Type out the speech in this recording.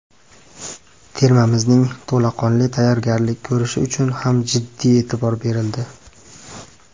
Termamizning to‘laqonli tayyorgarlik ko‘rishi uchun ham jiddiy e’tibor berildi.